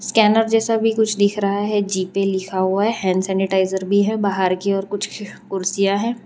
Scanner जैसा भी कुछ दिख रहा है जी पेय लिखा हुआ है हैंड सेनीटाइजर भी है बाहर की ओर कुछ कुर्सियां हैं।